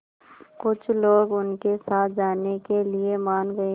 कुछ लोग उनके साथ जाने के लिए मान गए